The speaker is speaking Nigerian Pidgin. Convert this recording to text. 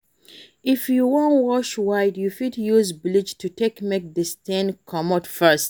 If you wan wash white, you fit use bleach to take make di stain comot fast